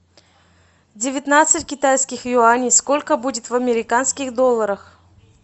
девятнадцать китайских юаней сколько будет в американских долларах